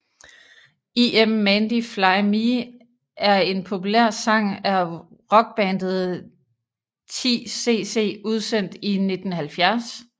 Im Mandy Fly Me er en populær sang af rockbandet 10cc udsendt i 1970